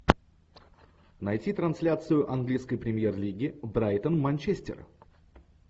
найти трансляцию английской премьер лиги брайтон манчестер